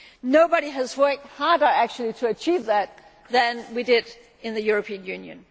Nobody has worked harder actually to achieve that than we have in the European Union.